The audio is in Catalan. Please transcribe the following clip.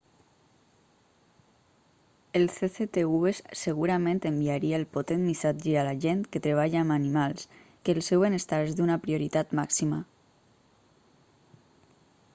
el cctv segurament enviaria el potent missatge a la gent que treballa amb animals que el seu benestar és d'una prioritat màxima